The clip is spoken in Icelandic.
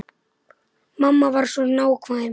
Mamma var svo nákvæm.